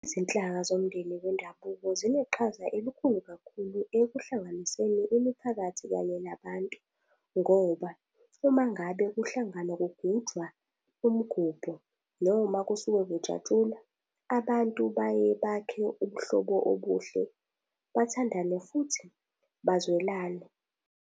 Izinhlaka zomndeni wendabuko zineqhaza elikhulu kakhulu ekuhlanganiseni imiphakathi kanye nabantu. Ngoba uma ngabe kuhlanganwa kugujwa umgubho, noma kusuke kujatshulwa, abantu baye bakhe ubuhlobo obuhle, bathandane, futhi bazwelane.